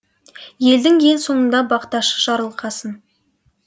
елдің ең соңында бақташы жарылқасын